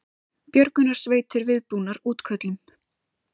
Björgunarsveitir viðbúnar útköllum